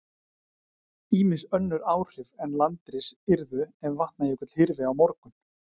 Ýmis önnur áhrif en landris yrðu ef Vatnajökull hyrfi á morgun.